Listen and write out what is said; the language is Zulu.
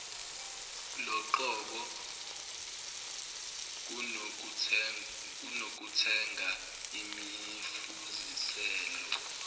loqobo kunokuthenga imifuziselo